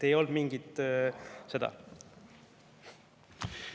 Ei olnud mingit seda.